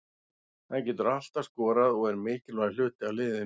Hann getur alltaf skorað og er mikilvægur hluti af liðinu.